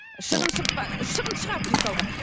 шығын шықпа шығын шығады мысалға